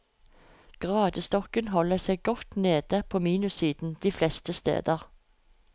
Gradestokken holder seg godt nede på minussiden de fleste steder.